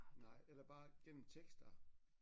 Nej eller bare gennem tekster